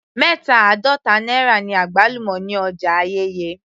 Mẹta àádọta náírà ni àgbálùmọ́ ní ọjà Ayẹ́yẹ́